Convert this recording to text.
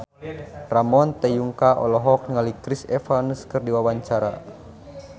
Ramon T. Yungka olohok ningali Chris Evans keur diwawancara